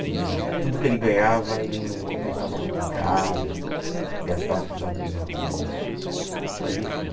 E tudo que ele ganhava ele não não pensava muito em casa, gastava com os amigos na rua, mas enfim.